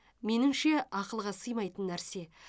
меніңше ақылға сыймайтын нәрсе